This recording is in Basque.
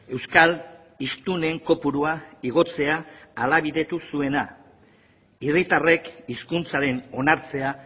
euskal hiztunen kopurua igotzea ahalbidetu zuena herritarrek hizkuntzaren onartzea